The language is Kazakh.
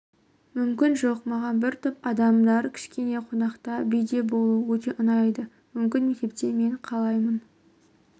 мүмкін жоқ маған бір топ адамдар кешінде қонақта биде болу өте ұнайды мүмкін мектепте мен қалаймын